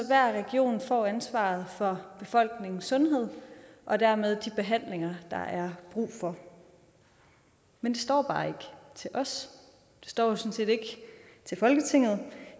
hver region får ansvaret for befolkningens sundhed og dermed de behandlinger der er brug for men det står bare ikke til os det står sådan set ikke til folketinget